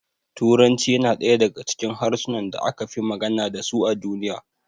Turanci yana daya daga cikin harsunan da aka fi magana dasu a duniya